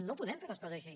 no podem fer les coses així